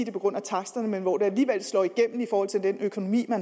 er på grund af taksterne men hvor det alligevel slår igennem i forhold til økonomien og